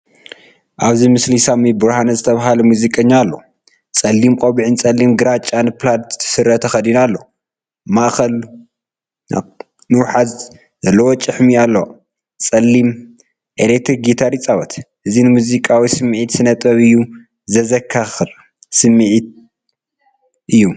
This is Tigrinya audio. ኣብዚ ምስሊ ሳሚ ብርሃነ ዝተባህለ ሙዚቀኛ ኣሎ። ጸሊም ቆቢዕን ጸሊምን ግራጭን ፕላድ ስረ ተኸዲኑ ኣሎ። ማእከላይ ንውሓት ዘለዎ ጭሕሚ ኣለዎ። ጸሊም ኤሌክትሪክ ጊታር ይጻወት። እዚ ንሙዚቃዊ ስምዒትን ስነ ጥበብን እዩ ዘዘካክር ስምዒተ እዩ።